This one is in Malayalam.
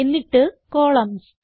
എന്നിട്ട് കോളംൻസ്